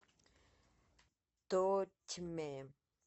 тотьме